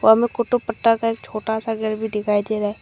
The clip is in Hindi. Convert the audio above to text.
हमें कुट्टू पट्टा का एक छोटा सा घर भी दिखाई दे रहा है।